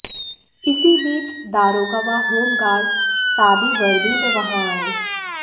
इसी बीच दारोगा व होमगार्ड सादी वर्दी में वहां आये